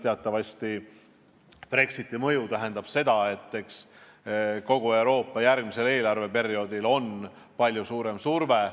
Teatavasti on Brexiti mõjul kogu Euroopa Liidu eelarvele järgmisel perioodil palju suurem surve.